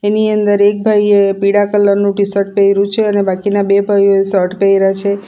એની અંદર એક ભાઈએ પીળા કલર નું ટીશર્ટ પેઇરુ છે અને બાકીના બે ભાઈઓએ શર્ટ પેઇરા છે.